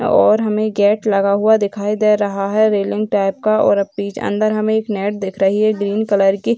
और हमें गेट लगा हुआ दिखाई दे रहा है रैलिंग टाइप का और अब बीच अंदर हमें एक नेट दिख रही है ग्रीन कलर की।